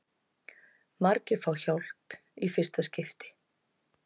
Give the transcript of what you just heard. Margir fá hjálp í fyrsta skipti